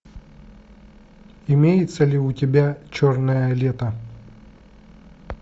имеется ли у тебя черное лето